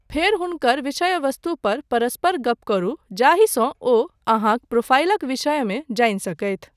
फेर हुनकर विषय वस्तु पर परस्पर गप करू जाहिसँ ओ अहाँक प्रोफाइलक विषयमे जानि सकथि।